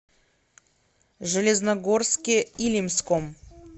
железногорске илимском